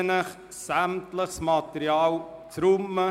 Ich bitte Sie, sämtliches Material wegzuräumen.